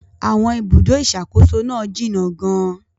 Àwọn ibùdó ìṣàkóso náà jìnnà gan-an.